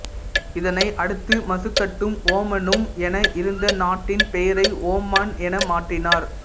இதனை அடுத்து மசுக்கட்டும் ஓமானும் என இருந்த நாட்டின் பெயரை ஓமான் என மாற்றினார்